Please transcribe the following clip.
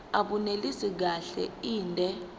abunelisi kahle inde